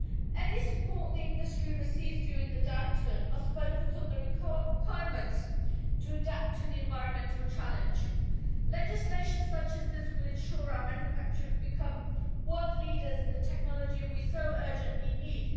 Any support the industry receives during the downturn must focus on the requirements to adapt to the environmental challenge. Legislation such as this will ensure our manufacturers become world leaders in the technology we so urgently need.